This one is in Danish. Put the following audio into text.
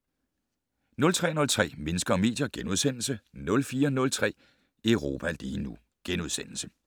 03:03: Mennesker og medier * 04:03: Europa lige nu *